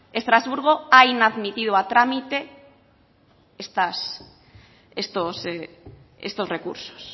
estrasburgo ha inadmitido a trámite estos recursos